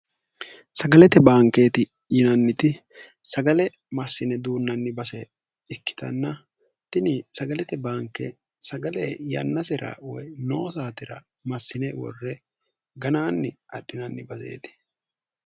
sagalete baankeeti yinanniti sagale massine duunnanni base ikkitanna tini sagalete baanke sagale yannasira woy noosaatira massine worre ganaanni adhinanni baseeti